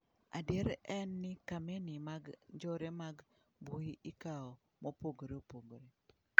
Adier en ni kameni mag njore mag mbuyi ikawo mopogore opogore.